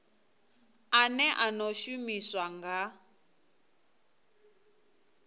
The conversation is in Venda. ane a ḓo shumiswa nga